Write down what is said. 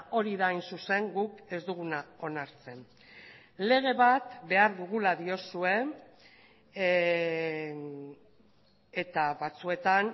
hori da hain zuzen guk ez duguna onartzen lege bat behar dugula diozue eta batzuetan